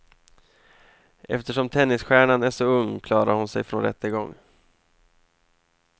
Eftersom tennisstjärnan är så ung klarar hon sig från rättegång.